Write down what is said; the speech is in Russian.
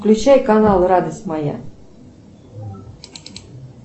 включай канал радость моя